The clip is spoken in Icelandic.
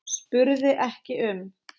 spurði ekki um